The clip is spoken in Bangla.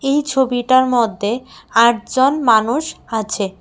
এই ছবিটার মধ্যে আট জন মানুষ আছে।